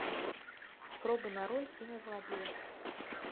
пробы на роль кинозлодея